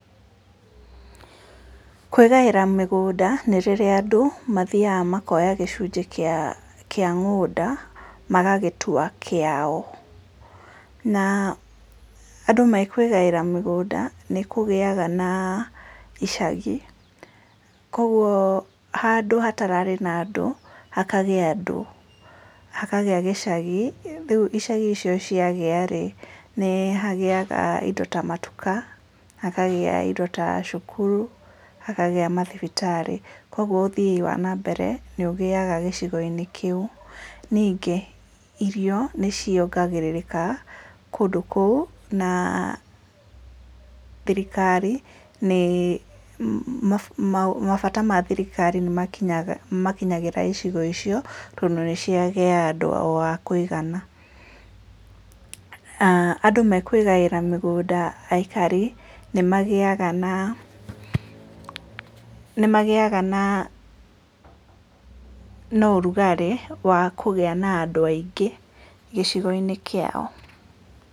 Kwĩgaĩra mĩgũnda nĩ rĩrĩa andũ mathiĩ makoya gĩcunjĩ kĩa mũgũnda magagĩtua kĩao, na andũ marĩkwĩgaĩra mĩgũnda nĩ kũgĩa na icagi, kwoguo handũ hatararĩ na andũ hakagĩa andũ, hakagĩa gĩcagi, rĩu icagi icio ciagĩa rĩ, nĩ hagĩaga indo ta matuka hakagĩa indo ta cukuru, hakagĩa mathibitarĩ, ũguo ũthii wa na mbere nĩ ũgĩaga gĩcigo-inĩ kĩu, ningĩ irio nĩ ciongererekaga kũu na thirikari, mabata ma thirikari nĩ makinyagĩra icigo icio tondũ nĩ kwagĩa andũ akũigana. Andũ mekwĩgaĩra mĩgũnda aikari nĩ magĩaga na, nĩ magĩaga na ũrugarĩ wa kũgĩa andũ aingĩ gĩcigo-inĩ kĩao.